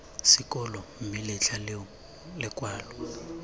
sekolo mme letlha leo lekwalo